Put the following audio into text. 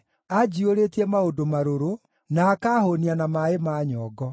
Anjiyũrĩtie maũndũ marũrũ, na akaahũũnia na maaĩ ma nyongo.